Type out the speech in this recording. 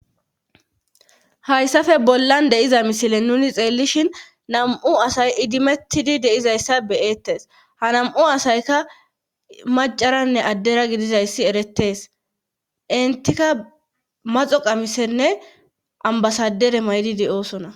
hayssafe bollan deyiza misile nuni xeellishin nam7u asay idimettidi deizayssa beyettes ha nam7u asayka macaranne addera gidizayssi eretees intika maxo qamisenne ambasadere maydidi oosona